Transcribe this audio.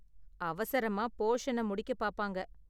அவசரமா போஷன முடிக்க பாப்பாங்க.